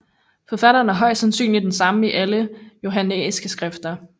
Forfatteren er højst sandsynligt den samme i alle de johannæiske skrifter